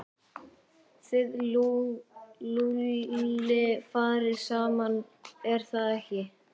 Þið Lúlli farið saman, er það ekki?